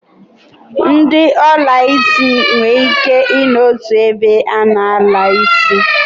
Ndi olaisi ise nwere Ike I no n'otu ebe a na-ala isi